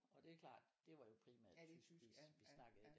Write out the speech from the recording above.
Og det er klart det var jo primært tysk vi vi snakkede